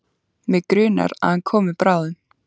Mig grunar að hann komi bráðum.